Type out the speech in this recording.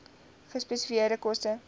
gespesifiseerde koste